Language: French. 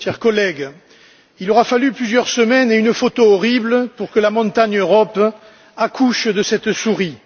Monsieur le Président, chers collègues, il aura fallu plusieurs semaines et une photo horrible pour que la montagne Europe accouche de cette souris.